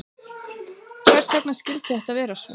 Hvers vegna skyldi þetta vera svo?